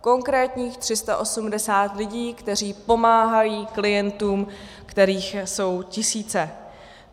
Konkrétních 380 lidí, kteří pomáhají klientům, kterých jsou tisíce.